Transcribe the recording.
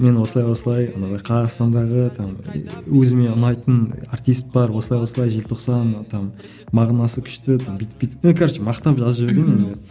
мен осылай осылай қазақстандағы там өзіме ұнайтын артист бар осылай осылай желтоқсан там мағынасы күшті там бүйтіп бүйтіп ну короче мақтап жазып жіберген енді